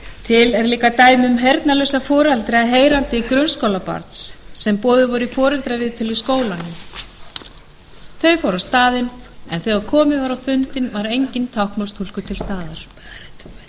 til er líka dæmi um heyrnarlausa foreldra heyrandi grunnskólabarns sem boðuð voru í foreldraviðtal í skólanum þau fóru á staðinn en þegar komið var á fundinn var enginn táknmálstúlkur til staðar